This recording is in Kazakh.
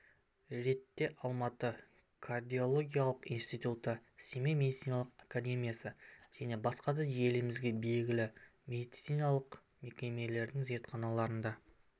ретте алматы кардиологиялық институты семей медициналық академиясы және басқа да елімізге белгілі медициналық мекемелердің зертханаларында